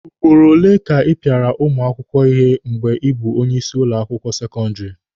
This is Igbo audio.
Ugboro ole ka ị pịara ụmụ akwụkwọ ihe mgbe ị bụ onye isi ụlọ akwụkwọ sekọndịrị?